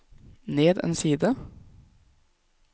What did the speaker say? ned en side